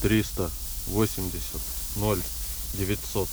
триста восемьдесят ноль девятьсот